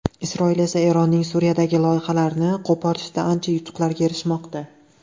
Isroil esa Eronning Suriyadagi loyihalarini qo‘porishda ancha yutuqlarga erishmoqda.